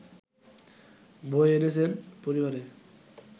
বয়ে এনেছেন পরিবারে